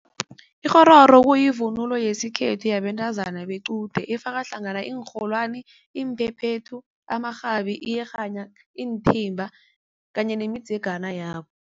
Ikghororo kuyivunulo yesikhethu yabentazana bequde efaka hlangana iinrholwani, iphephethu, amarhabi, iyerhana iinthimba kanye nemidzegana yabo.